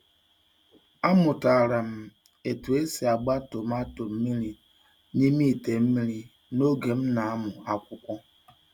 Amụtara m otú e si agba tomato mmiri n’ime ite mmiri n’oge m na-amụ akwụkwọ.